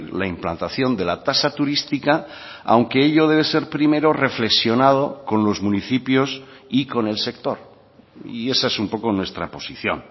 la implantación de la tasa turística aunque ello debe ser primero reflexionado con los municipios y con el sector y esa es un poco nuestra posición